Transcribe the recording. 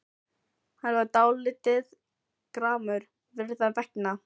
Hann var dálítið gramur Gerðar vegna.